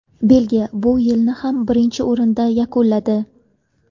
Belgiya bu yilni ham birinchi o‘rinda yakunladi.